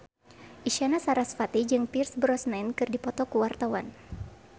Isyana Sarasvati jeung Pierce Brosnan keur dipoto ku wartawan